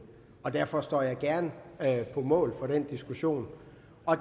derfor står jeg gerne på mål for den diskussion